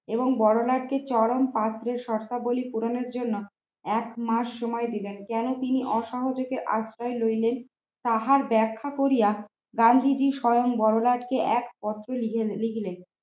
এবং বড়লাট কে চরম শর্তাবলী প্রয়োজনা এক মাস সময় দিলেন কেন তিনি আসামে যেতে আশ্রয় রইলেন তাহার ব্যাখ্যা করিয়া গান্ধীজী স্বয়ং বড়লাটকে এক পত্র নিজে লিখে গেলেন।